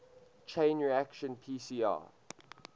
chain reaction pcr